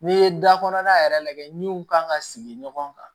N'i ye da kɔnɔna yɛrɛ lajɛ min kan ka sigi ɲɔgɔn kan